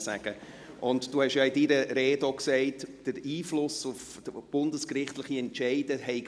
Sie haben in Ihrer Rede auch gesagt, man habe halt keinen Einfluss auf bundesgerichtliche Entscheide.